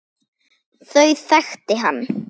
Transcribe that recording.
Þau þekkti hann.